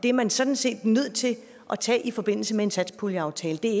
er man sådan set nødt til at tage i forbindelse med en satspuljeaftale det